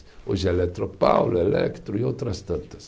Hoje é Eletropaulo, Electro e outras tantas.